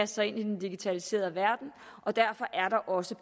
sig ind i den digitaliserede verden og derfor er der også